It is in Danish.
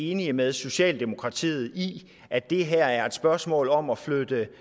enige med socialdemokratiet i at det her er et spørgsmål om at flytte